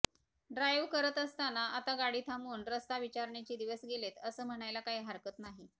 drive करत असतांना आता गाडी थांबवून रस्ता विचारण्याचे दिवस गेलेत असं म्हणायला काही हरकत नाही